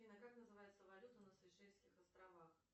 афина как называется валюта на сейшельских островах